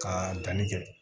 Ka danni kɛ